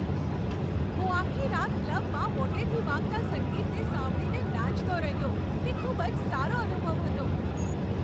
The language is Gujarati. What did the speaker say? હું આખી રાત ક્લબમાં મોટેથી વાગતા સંગીતને સાંભળીને નાચતો રહ્યો. તે ખૂબ જ સારો અનુભવ હતો.